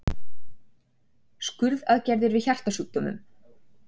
Skurðaðgerðir við hjartasjúkdómum.